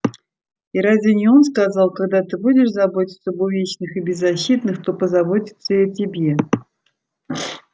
и разве не он сказал когда ты будешь заботиться об увечных и беззащитных то позаботятся и о тебе